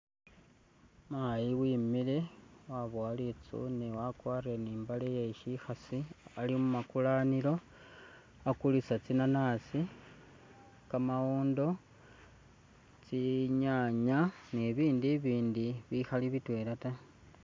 Mayi wimile wabowa litsune wakwarile ni imbale yeshikhasi ali mumakulanilo akulisa tsinanasi, kamawindo, tsinyanya ni bindu ibindi bikhali bitwela ta